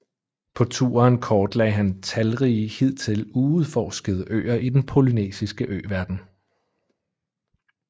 På turen kortlagde han talrige hidtil uudforskede øer i den polynesiske øverden